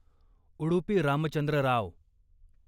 Udupi Ramachandra Rao